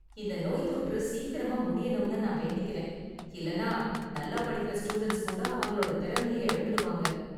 இந்த நோய்த்தொற்று சீக்கிரமா முடியணும்னு நான் வேண்டிக்கறேன், இல்லனா நல்லா படிக்குற ஸ்டூடண்ட்ஸ் கூட அவங்களோட திறமைய இழந்துடுவாங்க.